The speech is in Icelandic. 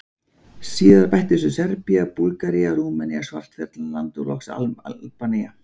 Síðar bættust við Serbía, Búlgaría, Rúmenía, Svartfjallaland og loks Albanía.